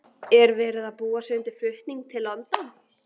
Er verið að búa sig undir flutning til London?